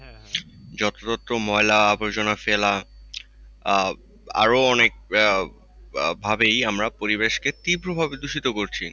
যথাযথ ময়লা-আবর্জনা ফেলা আহ আরো অনেক আহ আরো অনেক ভাবেই আমরা পরিবেশকে তীব্রভাবে দূষিত করছি।